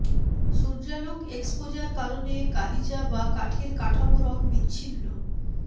সূর্যালোক exposure কারণে গালিচা বা কাঠের কাঠামো রঙ বিচ্ছিন্ন